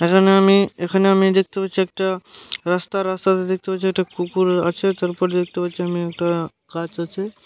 এখানে আমি এখানে আমি দেখতে পাচ্ছি একটা রাস্তা রাস্তাতে দেখতে পাচ্ছি পুকুর আছে তারপর দেখতে পাচ্ছি একটা গাছ আছে।